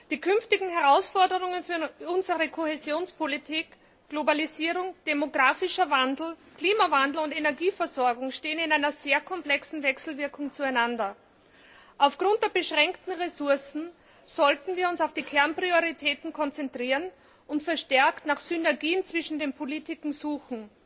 Die künftigen Herausforderungen für unsere Kohäsionspolitik Globalisierung, demographischer Wandel, Klimawandel und Energieversorgung stehen in einer sehr komplexen Wechselwirkung zueinander. Aufgrund der beschränkten Ressourcen sollten wir uns auf die Kernprioritäten konzentrieren und verstärkt nach Synergien zwischen den Politiken suchen.